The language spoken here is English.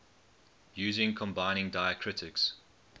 using combining diacritics